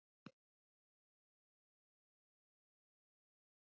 Hún lést um borð í Kólumbíu og lætur eftir sig eiginmann.